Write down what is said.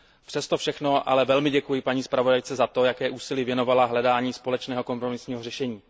Přesto všechno ale velmi děkuji paní zpravodajce za to, jaké úsilí věnovala hledání společného kompromisního řešení.